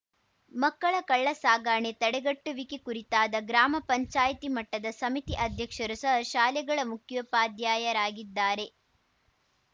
ಮಕ್ಕಳ ಕಳ್ಳ ಸಾಗಣೆ ತಡೆಗಟ್ಟುವಿಕೆ ಕುರಿತಾದ ಗ್ರಾಮ ಪಂಚಾಯಿತಿ ಮಟ್ಟದ ಸಮಿತಿ ಅಧ್ಯಕ್ಷರು ಸಹ ಶಾಲೆಗಳ ಮುಖ್ಯೋಪಾಧ್ಯಾಯರಾಗಿದ್ದಾರೆ